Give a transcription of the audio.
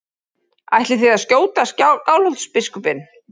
Ætlið þið að skjóta Skálholtsbiskupinn?